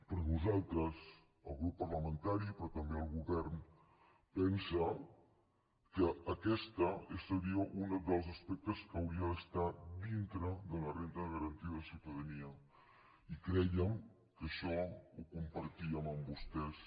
però nosaltres el grup parlamentari però també el govern pensem que aquest seria un dels aspectes que hauria d’estar dintre de la renda de garantia de ciutadania i crèiem que això ho compartíem amb vostès